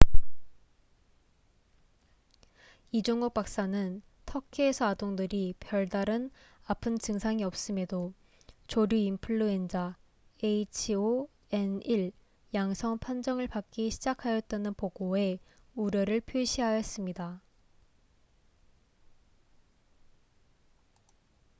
이종욱 박사는 터키에서 아동들이 별다른 아픈 증상이 없음에도 조류인플루엔자h5n1 양성 판정을 받기 시작하였다는 보고에 우려를 표시하였습니다